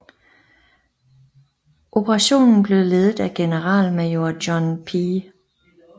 Operationen blev ledet af generalmajor John P